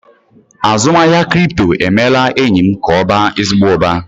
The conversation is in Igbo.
Azụmahịa kripto emeela enyi m ka ọ baa ezigbo uba.